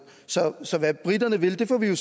så hvad briterne vil får vi jo